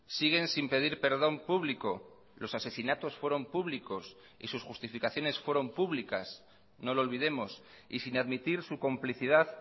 siguen sin pedir perdón público los asesinatos fueron públicos y sus justificaciones fueron públicas no lo olvidemos y sin admitir su complicidad